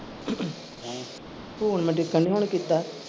Phone ਮੈਂ ਉਡੀਕਣ ਦੀ ਹੁਣ ਕੀਤਾ।